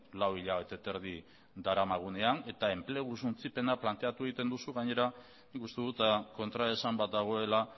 lau hilabete eta erdi daramagunean eta enplegu suntsipena planteatu egiten duzu gainera nik uste dut kontraesan bat dagoela